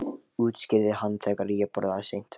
útskýrði hann, þegar ég borða seint.